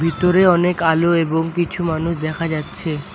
ভিতরে অনেক আলো এবং কিছু মানুষ দেখা যাচ্ছে।